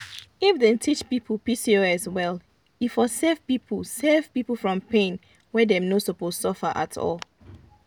if dem teach people pcos well e for save people save people from pain wey dem no suppose suffer at all.